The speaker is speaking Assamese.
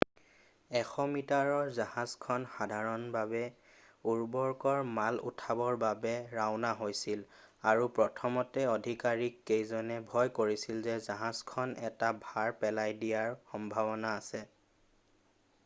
100 মিটাৰৰ জাহাজখন সাধাৰণভাৱে উৰ্বৰকৰ মাল উঠাবৰ বাবে ৰাওনা হৈছিল আৰু প্ৰথমতে আধিকাৰীক কেইজনে ভয় কৰিছিল যে জাহাজখন এটা ভাৰ পেলাই দিয়াৰ সম্ভাৱনা আছে